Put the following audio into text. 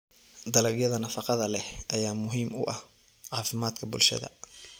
Dalagyada nafaqada leh ayaa muhiim u ah caafimaadka bulshada.